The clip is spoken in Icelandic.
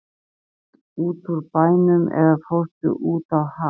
Fórstu út úr bænum eða fórstu út á haf?